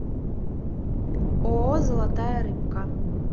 ооо золотая рыбка